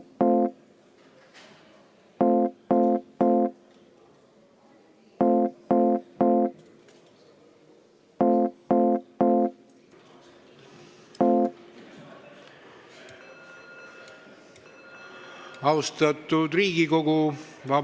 Austatud Riigikogu!